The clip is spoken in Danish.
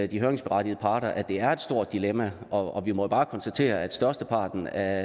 de høringsberettigede parter af at det er et stort dilemma og vi må jo bare konstatere at størsteparten af